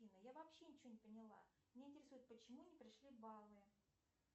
афина я вообще ничего не поняла меня интересует почему не пришли баллы